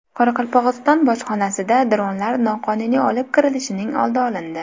Qoraqalpog‘iston bojxonasida dronlar noqonuniy olib kirilishining oldi olindi.